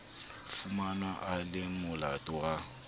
fumanwa a le molato wa